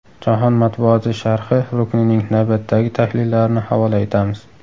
Jahon matbuoti sharhi ruknining navbatdagi tahlillarini havola etamiz.